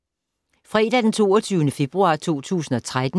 Fredag d. 22. februar 2013